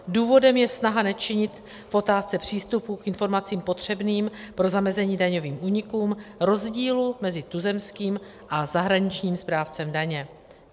Důvodem je snaha nečinit v otázce přístupu k informacím potřebným pro zamezení daňovým únikům rozdílu mezi tuzemským a zahraničním správcem daně.